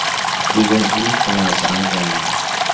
Bugun ilk finalchi aniqlanadi.